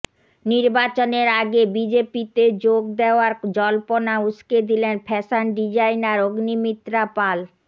নির্বাচনের আগে বিজেপিতে যোগ দেওয়ার জল্পনা উস্কে দিলেন ফ্যাশন ডিজাইনার অগ্নিমিত্রা পাল